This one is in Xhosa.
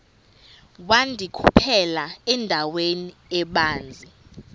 wandikhuphela endaweni ebanzi